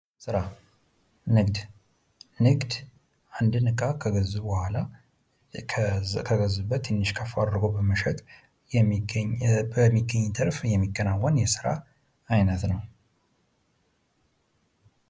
ስራ፡ ንግድ ንግድ አንድን እቃ ከገዙ በኋላ ከገዙበት ከፍ አድርጎ በመሸጥ ገንዘብ ማግኘት ነው።